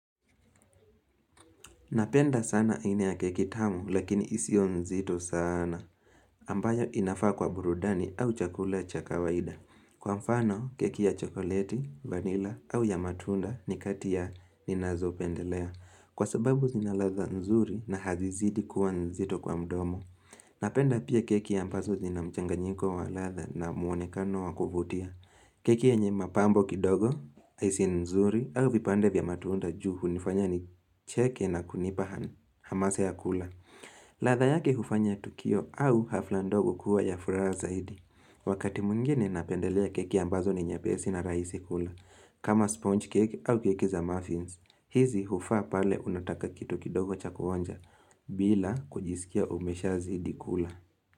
Napenda sana aina ya keki tamu lakini isiyo nzito sana. Ambaye inafaa kwa burudani au chakula cha kawaida. Kwa mfano keki ya chokoleti, vanilla au ya matunda ni kati ya ninazopendelea. Kwa sababu zinaladha nzuri na hazizidi kuwa nzito kwa mdomo. Napenda pia keki ambazo zina mchanganyiko wa ladha na muonekano wa kuvutia. Keki yenye mapambo kidogo, haisi nzuri au vipande vya matunda juu hunifanya nicheke na kunipa han hamasa ya kula. Ladha yake hufanya tukio au hafla ndogo kuwa ya furaha zaidi. Wakati mwingine napendelea keki ambazo ni nyepesi na rahisi kula. Kama sponge cake au keki za muffins. Hizi hufaa pale unataka kitu kidogo cha kuonja bila kujisikia umeshazidi kula.